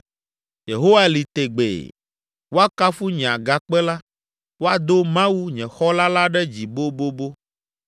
“Yehowa li tegbee! Woakafu nye Agakpe la! Woado Mawu, nye Xɔla la ɖe dzi bobobo!